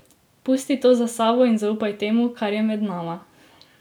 Pusti to za sabo in zaupaj temu, kar je med nama.